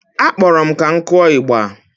Akpọrọ m ka m kụọ ịgba